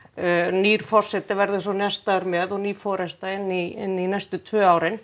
nýr forseti verður svo nestaður með og ný forysta inn í inn í næstu tvö árin